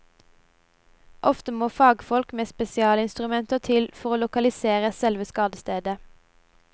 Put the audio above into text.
Ofte må fagfolk med spesialinstrumenter til for å lokalisere selve skadestedet.